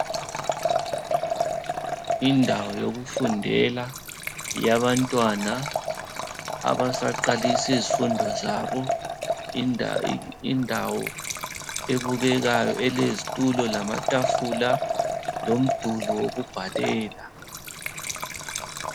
Indawo yokufundela yabantwana abasaqalisa izifundo zabo. Indawo ebukekayo elezitulo lamatafula lomduli yokubhalela.